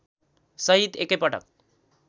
सहित एकै पटक